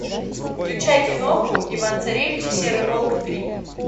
включай киноху иван царевич и серый волк три